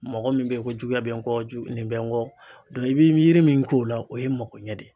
Mɔgɔ min be ye ko juguya be n kɔ jugu nin bɛ n kɔ dɔn i be yiri min k'o la o ye makoɲɛ de ye